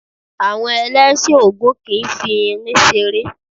Àwọn Ẹlẹ́sìn Ògún kìí fi irin ṣeré.